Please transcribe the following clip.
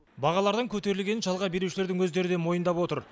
бағалардың көтерілгенін жалға берушілердің өздері де мойындап отыр